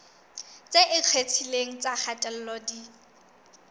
tse ikgethileng tsa kgatello di